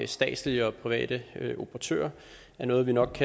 statslige og private operatører er noget vi nok